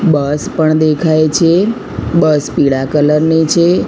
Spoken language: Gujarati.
બસ પણ દેખાઈ છે બસ પીડા કલર ની છે.